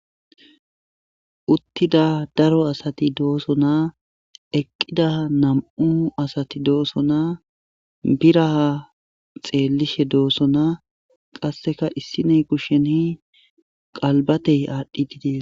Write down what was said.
uttida daro asati dooso naa eqqida nam7u asati dooso naa biraha xeellishe dooso naa qasseka issiney kushen hi qalbatey aadhdhi didees